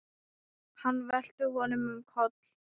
Hann velti honum um koll.